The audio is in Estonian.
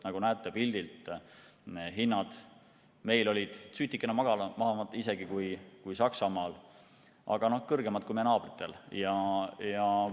Nagu näete pildilt, meil olid hinnad sutikene madalamad isegi kui Saksamaal, aga kõrgemad kui meie naabritel.